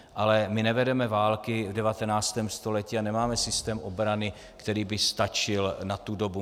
Ale my nevedeme války v 19. století a nemáme systém obrany, který by stačil na tu dobu.